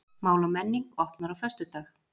Mál og menning opnar á föstudag